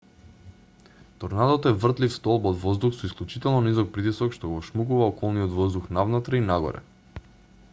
торнадото е вртлив столб од воздух со исклучително низок притисок што го вшмукува околниот воздух навнатре и нагоре